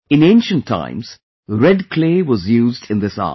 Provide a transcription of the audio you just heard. In ancient times red clay was used in this art